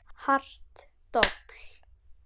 Hart dobl.